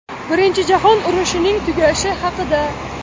Birinchi jahon urushining tugashi haqida ”.